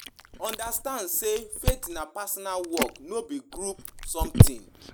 Make sure say you get your personal relationship with God first